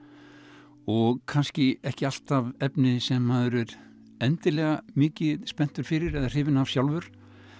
og kannski ekki alltaf efni sem maður er endilega mikið spenntur fyrir eða hrifinn af sjálfur